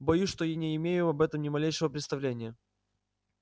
боюсь что и не имею об этом ни малейшего представления